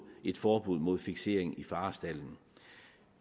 et forbud mod fiksering i farestalden